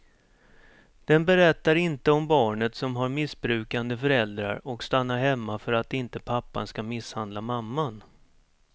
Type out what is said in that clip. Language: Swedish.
Den berättar inte om barnet som har missbrukande föräldrar och stannar hemma för att inte pappan ska misshandla mamman.